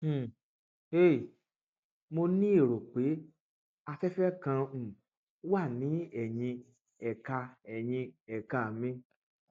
dábàá ògùn tí yóò dín ìrora ẹyìn àti um ikùn kù tó ń wáyé nítorí hernia